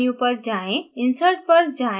build menu पर जाएँ